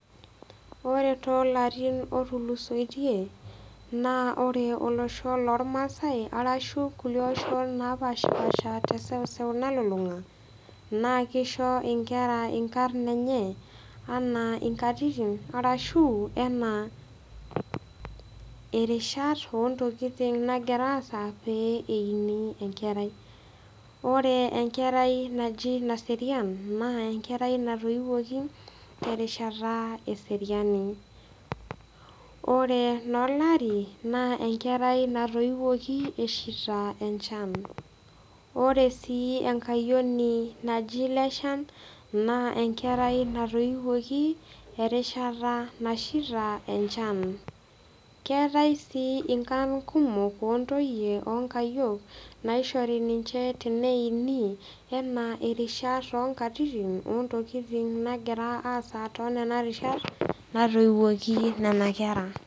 Ore toolarin otulusoitie, naa ore olosho lolmaasai arashu kulie oshon loopaashipaasha teseuseu nalulung'a, naa keisho inkera inkarn enye anaa inkatitin arashu anaa irishat ontokitin nagira aasa pee eini enkerai. Ore enkerai naji Naserian naa enkerai natoiwuoki tenkata eseriani. Ore Nolari naa enkerai natoiwuoki esheita enchan, ore sii enkayioni naji Leshan, naa enkerai natoiwuoki esheita enchan. Keatai sii inkarn kumok ontoyie o nkayiok naishori ninche teneini anaa irishat o nkatitin o ntokitin nagira aasa toonena rishat naatoiwuoki nena kera.